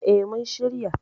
Eh mun shirya.